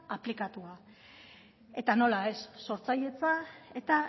aplikatua eta nola ez sortzaidetza eta